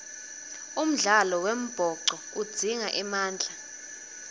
umdlalo wembhoco udzinga emandla